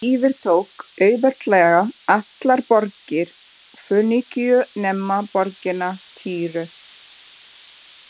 Hann yfirtók auðveldlega allar borgir Fönikíu nema borgina Týru.